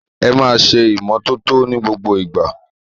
Ẹ máa ṣe ìmọ́tótó ní gbogbo ìgbà!